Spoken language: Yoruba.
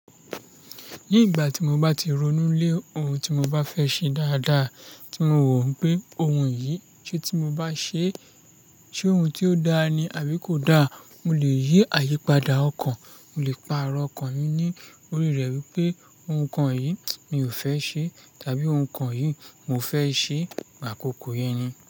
Ní ìgbà tí mo bá ti ronú lé ohun tí mo bá fẹ́ ṣe dáadáa, tí mo wò pé ohun yìí ṣe tí mo bá ṣe, ṣe ohun tí ó dáa ni àbí kò dáa, mo lè yí àyípadà ọkàn, mo lè pa'rọ́ ọkàn mi ní orí rẹ̀ wípé ohun kan yìí mi ò fẹ́ ṣe tàbí ohun kan yìí mo fẹ́ ṣe, pàkóko yẹn ni.